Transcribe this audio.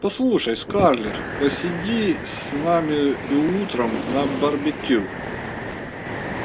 послушай скарлетт посиди с нами и утром на барбекю